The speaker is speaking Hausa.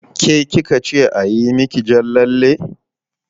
Ke ki ka ce a yi miki jan lalle?